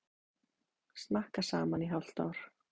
Snakka saman í hálft ár.